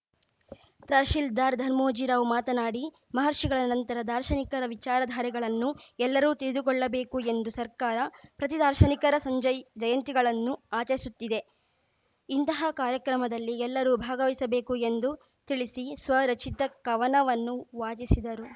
ತಹಸೀಲ್ದಾರ್‌ ಧರ್ಮೋಜಿರಾವ್‌ ಮಾತನಾಡಿ ಮಹರ್ಷಿಗಳ ಸಂತರ ದಾರ್ಶನಿಕರ ವಿಚಾರಧಾರೆಗಳನ್ನು ಎಲ್ಲರೂ ತಿಳಿದುಕೊಳ್ಳಬೇಕು ಎಂದು ಸರ್ಕಾರ ಪ್ರತಿ ದಾರ್ಶನಿಕರ ಸಂಜಯ್ ಜಯಂತಿಗಳನ್ನು ಅಚರಿಸುತ್ತಿದೆ ಇಂತಹ ಕಾರ್ಯಕ್ರಮದಲ್ಲಿ ಎಲ್ಲರೂ ಭಾಗವಹಿಸಬೇಕು ಎಂದು ತಿಳಿಸಿ ಸ್ವರಚಿತ ಕವನವನ್ನು ವಾಚಿಸಿದರು